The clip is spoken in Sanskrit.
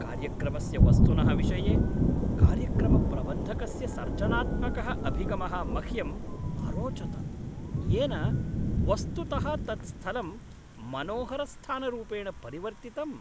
कार्यक्रमस्य वस्तुनः विषये कार्यक्रमप्रबन्धकस्य सर्जनात्मकः अभिगमः मह्यम् अरोचत, येन वस्तुतः तत्स्थलं मनोहरस्थानरूपेण परिवर्तितम्।